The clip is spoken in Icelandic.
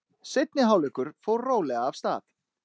Seinni hálfleikur fór rólega af stað.